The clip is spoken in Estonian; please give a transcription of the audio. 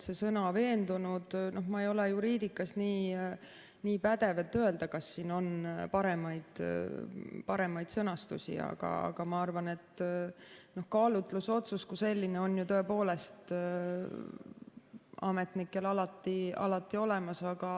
See sõna "veendunud" – ma ei ole juriidikas nii pädev, et öelda, kas on paremaid sõnastusi, aga ma arvan, et kaalutlusotsus kui selline on tõepoolest ametnikel alati olemas.